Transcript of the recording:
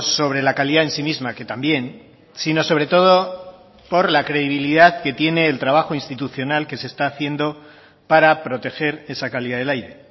sobre la calidad en sí misma que también sino sobre todo por la credibilidad que tiene el trabajo institucional que se está haciendo para proteger esa calidad del aire